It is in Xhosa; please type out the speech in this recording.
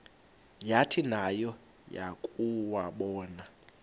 yathi nayo yakuwabona